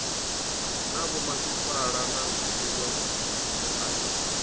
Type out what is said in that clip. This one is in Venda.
na vhomasipala na zwiwe zwipia